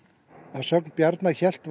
að sögn Bjarna hélt